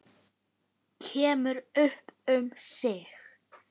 Kemur upp um sig.